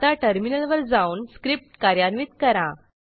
आता टर्मिनलवर जाऊन स्क्रिप्ट कार्यान्वित करा